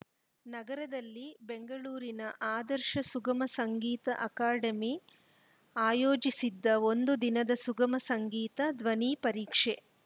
ನಗರದಲ್ಲಿ ಬೆಂಗಳೂರಿನ ಆದರ್ಶ ಸುಗಮ ಸಂಗೀತ ಅಕಾಡೆಮಿ ಆಯೋಜಿಸಿದ್ದ ಒಂದು ದಿನದ ಸುಗಮ ಸಂಗೀತ ಧ್ವನಿ ಪರೀಕ್ಷೆ